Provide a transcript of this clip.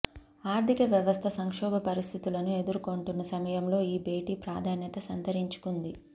ఆర్థిక వ్యవస్థ సంక్షోభ పరిస్థితులను ఎదుర్కొంటున్న సమయంలో ఈ భేటీ ప్రాధాన్యత సంతరించుకుంది